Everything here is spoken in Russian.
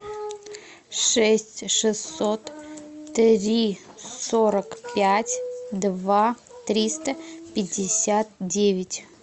шесть шестьсот три сорок пять два триста пятьдесят девять